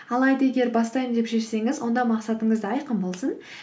алайда егер бастаймын деп шешсеңіз онда мақсатыңыз да айқын болсын